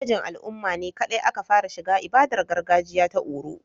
Namijin al'umma ne kaɗai aka fara shiga ibadar gargajiya ta oro